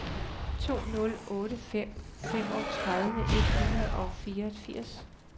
to nul otte fem femogtredive et hundrede og fireogfirs